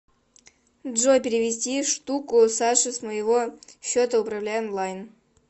джой перевести штуку саше с моего счета управляй онлайн